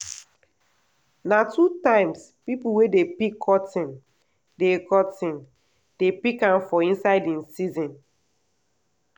na two times people wey dey pick cotton dey cotton dey pick am for inside im season